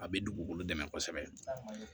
A bɛ dugukolo dɛmɛ kosɛbɛ